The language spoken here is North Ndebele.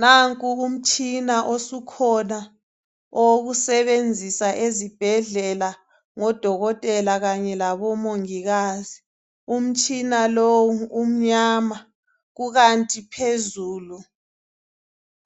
Nanku umtshina osukhona owokusebenzisa ezibhhedlela ngodokotela kanye labomongikazi umtshina lo umnyama kukanti phezulu